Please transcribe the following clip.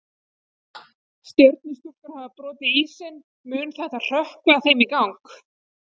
Stjörnustúlkur hafa brotið ísinn, mun þetta hrökkva þeim í gang?